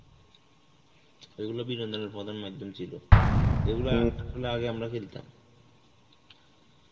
এইগুলো বিনোদনের প্রধান মাইধ্যম ছিল যেগুলো আসলে আগে আমরা খেলতাম.